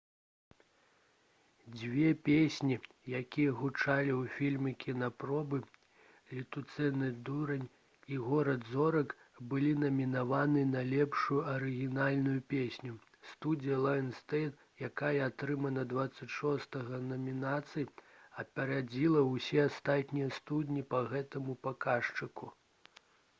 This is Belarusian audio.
дзве песні якія гучалі ў фільме «кінапробы» «летуценны дурань» і «горад зорак» былі намінаваны на лепшую арыгінальную песню. студыя «лаенсгейт» якая атрымала 26 намінацый апярэдзіла ўсе астатнія студыі па гэтаму паказчыку